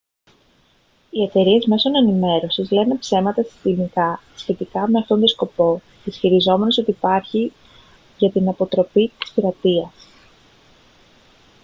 οι εταιρείες μέσων ενημέρωσης λένε ψέματα συστηματικά σχετικά με αυτόν τον σκοπό ισχυριζόμενες ότι υπάρχει για την «αποτροπή της πειρατείας»